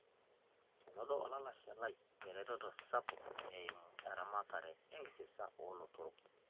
Enoto olalashe lai eretoto sapuk eimu eramatare ekisasa oo lotorok